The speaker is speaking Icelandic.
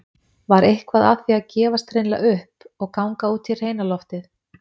Var eitthvað að því að gefast hreinlega upp- og ganga út í hreina loftið?